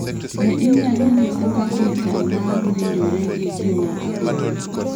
Be inyalo nyisa ka gitara maa winjore gi gima agoyo